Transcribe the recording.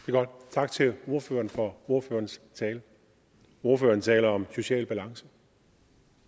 tak til ordføreren for talen ordføreren taler om social balance